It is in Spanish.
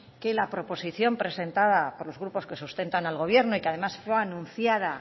que la proposición presentada por los grupos que sustentan al gobierno y que además fue anunciada